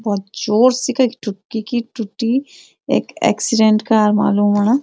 भौत जोर से कखी थुक्की कि टुट्टी एक एक्सीडेंट कार वालो ह्वा।